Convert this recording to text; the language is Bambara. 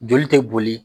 Joli tɛ boli